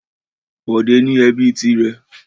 Bọ̀dé ní ẹbí tirẹ̀.